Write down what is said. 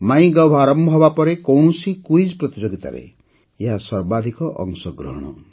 ମାଇ ଗଭ୍ ଆରମ୍ଭ ହେବାପରେ କୌଣସି କୁଇଜ୍ ପ୍ରତିଯୋଗିତାରେ ଏହା ସର୍ବାଧିକ ଅଂଶଗ୍ରହଣ